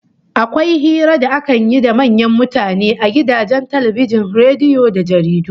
Akwai hira da akan yi da manyan mutane a gidajen talbijin, rediyo da jaridu